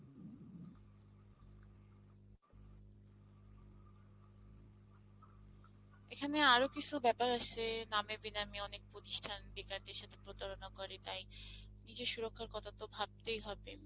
এখানে আরো কিছু ব্যাপার আছে নামি বেনামি অনেক প্রতিষ্ঠান বেকারদের সাথে প্রতারণা করে তাই নিজের সুরক্ষার কথা তো ভাবতেই হবে।